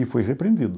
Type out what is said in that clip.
E fui repreendido.